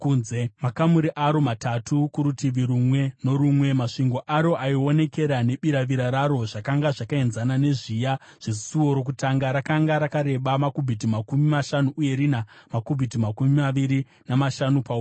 Makamuri aro, matatu kurutivi rumwe norumwe, masvingo aro aionekera nebiravira raro zvakanga zvakaenzana nezviya zvesuo rokutanga. Rakanga rakareba makubhiti makumi mashanu uye rina makubhiti makumi maviri namashanu paupamhi.